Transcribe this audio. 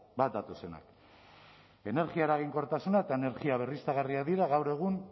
bat datozenak energia eraginkortasuna eta energia berriztagarriak dira gaur egun